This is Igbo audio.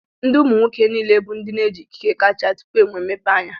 Ndị umu nwoke niile bụ ndi n'eji ikike kacha tupu enwe mmepeanya